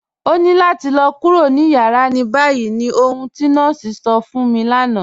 Ọ̀ ní làtì lọ̀ kúrò ní yàrá ní báyì ní ọ̀hun ti nọọ̀sí sọ̀ fún mi lánà.